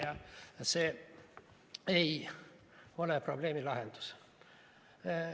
Ja see ei ole probleemi lahendus.